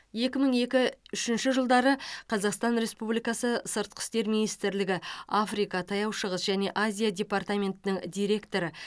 екі мың екі үшінші жылдары қазақстан республикасы сыртқы істер министрлігі африка таяу шығыс және азия департаментінің директоры